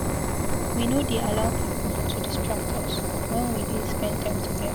We no dey allow pipu to distract us wen we dey spend time togeda.